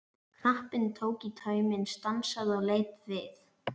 Knapinn tók í tauminn, stansaði og leit við.